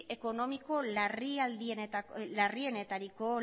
ekonomiko larrienetariko eta